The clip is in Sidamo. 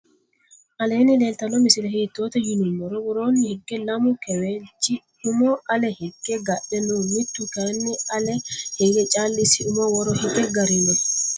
alleni leeltano misile hiitote yinumoro. worroni hige laamu keewlchi umo alle hiigge gadhe noo mittu kayinni alle hige callisi umo worro hige garino.